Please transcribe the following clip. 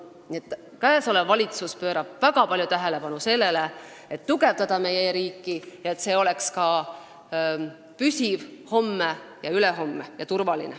Nii et praegune valitsus pöörab väga palju tähelepanu sellele, et tugevdada meie e-riiki, nii et see püsiks ja oleks turvaline ka homme ja ülehomme.